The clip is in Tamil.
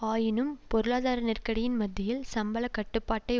ஆயினும் பொருளாதார நெருக்கடியின் மத்தியில் சம்பள கட்டுப்பாட்டை